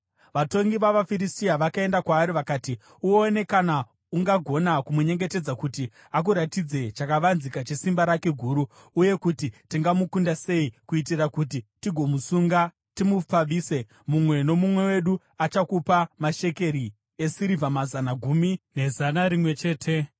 Vatongi vavaFiristia vakaenda kwaari vakati, “Uone kana ungagona kumunyengetedza kuti akuratidze chakavanzika chesimba rake guru, uye kuti tingamukunda sei kuitira kuti tigomusunga timupfavise. Mumwe nomumwe wedu achakupa mashekeri esirivha mazana gumi nezana rimwe chete .”